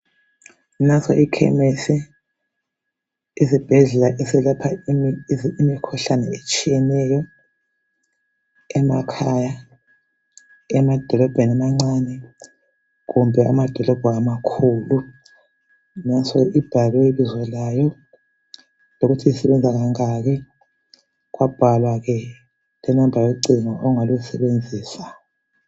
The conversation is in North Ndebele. Nanso ikhemisi isibhedlela esiyelapha imikhuhlane etshiyeneyo emadolobheni amancane , emakhaya kumbe amadolobho amakhulu naso kubhaliwe ibizo layo lokuthi isebenza kangaki kwabhalwa locingo ongalisebenzisa